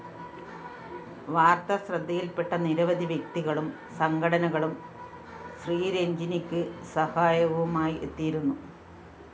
വാര്‍ത്ത ശ്രദ്ധയില്‍പെട്ട നിരവധി വ്യക്തികളും സംഘടനകളും ശ്രീരജ്ഞിനിക്ക് സഹായവുമായി എത്തിയിരുന്നു